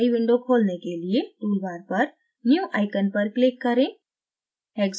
एक new window खोलने के लिए tool bar पर new icon पर click करें